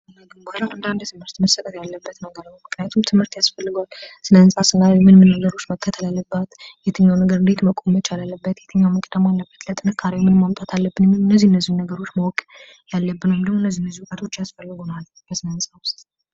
ስነ ህንፃና ግንባታ እንደ አንድ ትምህርት መስጠት ያለበት ነው። ምክንያቱም ትምህርት ያስፈልገዋል ሰነ ህንፃ ምን ምን ነገሮች መከተል አለበት የትኛው ነገር እንዴት መቆም መቻል ይቻላልበት ለጥንካሬው ምን ማምጣት አለብን የሚሉ እነዚህ እነዚህን ነገሮች ማወቅ ያለብን ወይንም ደግሞ እነዚህ አይነት ውቀቶች ያስፈልጉናል ለስነህ ህንፃ።